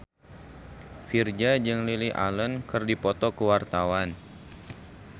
Virzha jeung Lily Allen keur dipoto ku wartawan